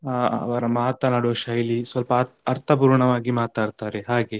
ಅಹ್ ಅವರ ಮಾತನಾಡುವ ಶೈಲಿ ಸ್ವಲ್ಪ ಅರ್ಥಪೂರ್ಣವಾಗಿ ಮಾತಾಡ್ತಾರೆ ಹಾಗೆ.